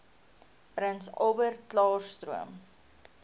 prins albertklaarstroom